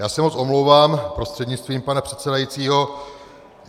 Já se moc omlouvám prostřednictvím pana předsedajícího.